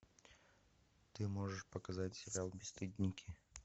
ты можешь показать сериал бесстыдники